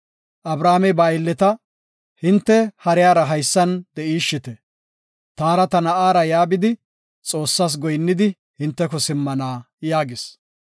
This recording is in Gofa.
Abrahaamey ba aylleta, “Hinte hariyara haysan de7ishite. Taara ta na7aara ya bidi Xoossas goyinnidi, hinteko simmana” yaagis.